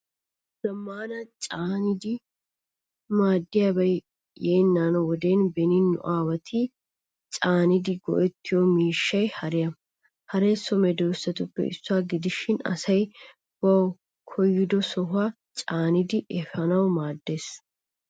Zamaana canidi maadiyabay yeena wode beni nu aawati caanidi go'ettiyo miishshay haariya. Haree so medosatuppe issuwaa gidishin asay bawu koyido sohuwaa caanidi efanawu maaddees.